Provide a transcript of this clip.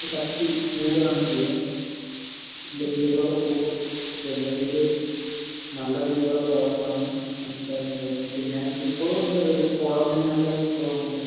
ശക്തി കൂടുകയാണ് ചെയ്യുക. തീവ്രത കൂടും. ജനുവരിയിൽ നല്ല തീവ്രതയാകുമെന്നാണ് മനസ്സിലാക്കുന്നത്. പിന്നെ ഇപ്പോഴും ഉണ്ട്. ഒരു കോടമഞ്ഞ് ഒക്കെ തോന്നുന്നുണ്ട്.